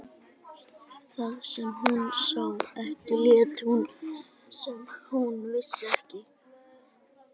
Það sem hún sá ekki lét hún sem hún vissi ekki.